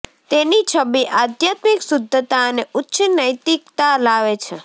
તેની છબી આધ્યાત્મિક શુદ્ધતા અને ઉચ્ચ નૈતિકતા લાવે છે